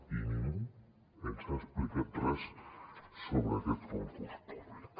i ningú ens ha explicat res sobre aquest concurs públic